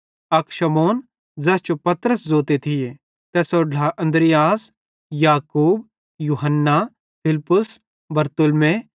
अक शमौन ज़ैस जो पतरस भी जोते थिये तैसेरो ढ्ला अन्द्रियास याकूब यूहन्ना फिलिप्पुस बरतुल्मै